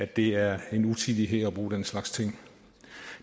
det er en utidighed at bruge den slags ting